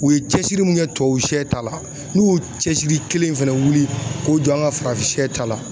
U ye cɛsiri min kɛ tubabusɛ ta la n'u y'u cɛsiri kelen fɛnɛ wuli k'o dɔn an ka farafinsɛ ta la